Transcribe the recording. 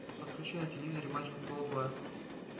подключи на телевизоре матч футбол два